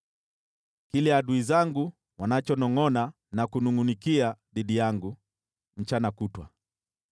kile adui zangu wanachonongʼona na kunungʼunikia dhidi yangu mchana kutwa.